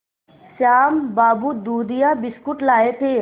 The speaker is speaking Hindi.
श्याम बाबू दूधिया बिस्कुट लाए थे